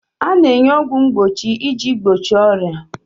A na-enye ọgwụ mgbochi iji gbochie ọrịa.